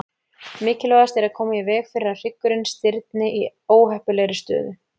Mikilvægast er að koma í veg fyrir að hryggurinn stirðni í óheppilegri stöðu.